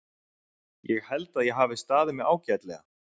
Ég held að ég hafi staðið mig ágætlega.